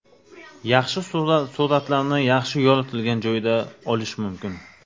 Yaxshi suratlarni yaxshi yoritilgan joyda olish mumkin.